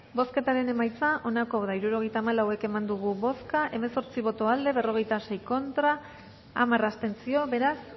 bozketaren emaitza onako izan da hirurogeita hamalau eman dugu bozka hemezortzi boto aldekoa berrogeita sei contra hamar abstentzio beraz